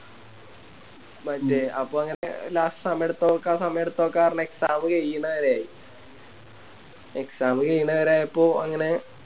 മറ്റേ അപ്പൊ അങ്ങനെ Last സമയെടുത്തൊക്കെ സമയെടുത്തൊക്കെ പറഞ്ഞ് Exam കൈയണവരെ ആയി Exam കൈയണവരെ ആയപ്പോ അങ്ങനെ